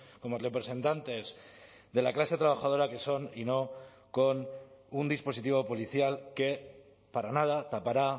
como representantes de la clase trabajadora que son y no con un dispositivo policial que para nada tapará